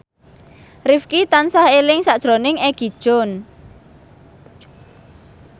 Rifqi tansah eling sakjroning Egi John